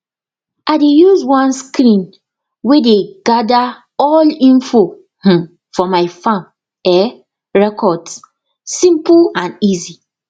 i dey use one screen way dey gather all info um for my farm um records simple and easy